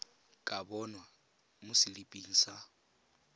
ka bonwa mo seliping sa